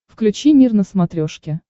включи мир на смотрешке